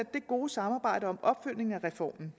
det gode samarbejde om opfølgning af reformen